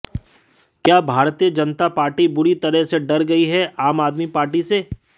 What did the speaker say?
क्या भारतीय जनता पार्टी बुरी तरह से डर गयी है आम आदमी पार्टी से